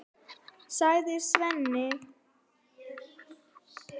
sagði Sveinn.